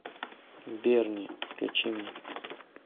берни включи мне